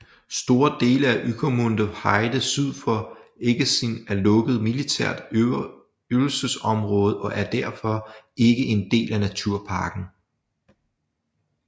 Store dele af Ueckermünder Heide syd for Eggesin er lukket militært øvelsesområde og er derfor ikke en del af naturparken